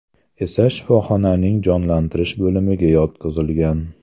esa shifoxonaning jonlantirish bo‘limiga yotqizilgan.